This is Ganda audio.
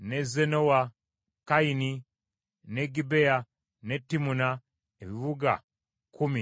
Kaini, n’e Gibea, n’e Timuna, ebibuga kkumi n’ebyalo byabyo.